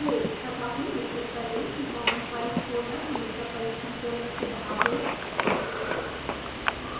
तथापि निश्चित कर लें कि common files फोल्डर हमेशा परिक्षण फोल्डर से बाहर हो